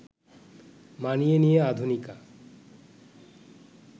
মানিয়ে নিয়ে আধুনিকা